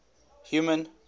human